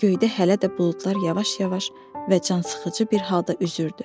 Göydə hələ də buludlar yavaş-yavaş və cansıxıcı bir halda üzürdü.